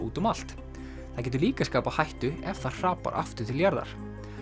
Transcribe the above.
úti um allt það getur líka skapað hættu ef það hrapar aftur til jarðar